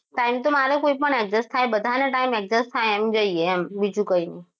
Time તો મારો કોઈ પણ adjust થાય બધાને time એક જ થાય એમ જઈએ એમ બીજું કંઈ નહીં.